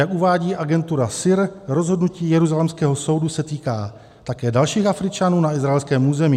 Jak uvádí agentura SIR, rozhodnutí jeruzalémského soudu se týká také dalších Afričanů na izraelském území.